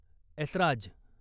Esraj